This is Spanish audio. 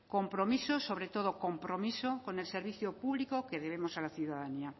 compromisos sobre todo compromisos con el servicio público que debemos a la ciudadanía